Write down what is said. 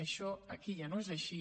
això aquí ja no és així